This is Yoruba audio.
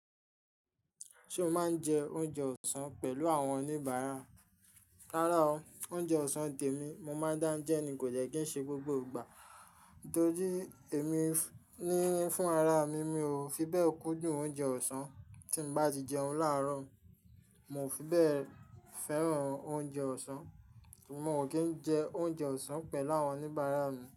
Ṣé o máa ń jẹ oúnjẹ ọ̀sán pẹ̀lú àwọn oníbàárà? Rárá o. Oúnjẹ ọ̀sán tèmi, mo máa ń dáńjẹ nì kò jẹ́ kí ń ṣe gbogbo ìgbà. Torí èmi ní fún ara mi, mi ò fi bẹ́ẹ̀ kúndùn oúnjẹ ọ̀sán. Tí n bá ti jẹun láàrọ̀, mi ò fi bẹ́ẹ̀ fẹ́ràn oúnjẹ ọ̀sán. Moo kí ń jẹ oúnjẹ ọ̀sán pẹ̀lú àwọn oníbàárà mi.